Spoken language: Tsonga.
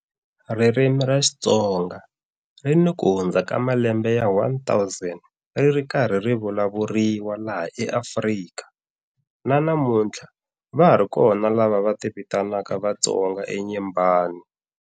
Ririmi ra Xitonga ri ni ku hundza ka malembe ya 1000 ri ri karhi ri vulavuriwa laha eAfrika, na namuntlha va ha ri kona lava va ti vitanaka Vatonga eNyembani.